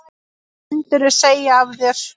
Myndirðu segja af þér?